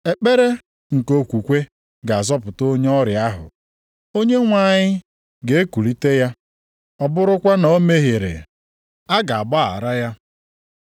Ekpere nke okwukwe ga-azọpụta onye ọrịa ahụ. Onyenwe anyị ga-ekulite ya, ọ bụrụkwa na o mehiere, a ga-agbaghara ya.